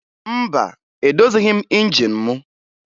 Mba, edozighi m injin mụ